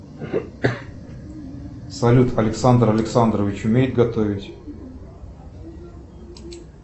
салют александр александрович умеет готовить